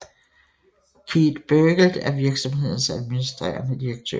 Keith Bergelt er virksomhedens administrerende direktør